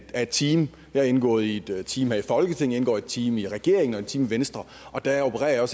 et team jeg er indgået i et team her i folketinget jeg indgår i et team i regeringen i et team i venstre og der opererer